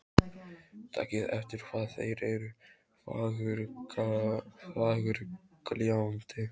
Takið eftir hvað þeir eru fagurgljáandi.